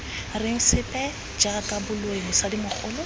reng sepe jaaka boloi mosadimogolo